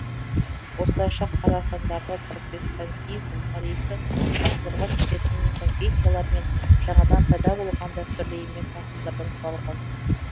осылайша қазақстандағы протестантизм тарихы ғасырларға кететін конфессиялар мен жаңадан пайда болған дәстүрлі емес ағымдардан құралған